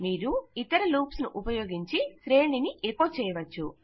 మీరు ఇతర లూప్స్ ను ఉపయోగించి శ్రేణిని ఎకొ చేయవచ్చు